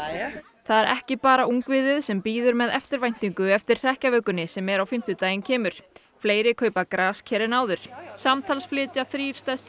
það er ekki bara ungviðið sem bíður með eftirvæntingu eftir hrekkjavökunni sem er á fimmtudaginn kemur fleiri kaupa grasker en áður samtals flytja þrír stærstu